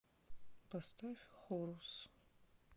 поставь хорус